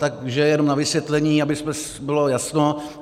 Takže jenom na vysvětlení, aby bylo jasno.